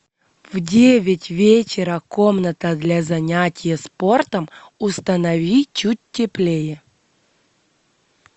в девять вечера комната для занятия спортом установи чуть теплее